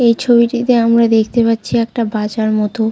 এই ছবিটিতে আমরা দেখতে পাচ্ছি একটা বাজার মতো।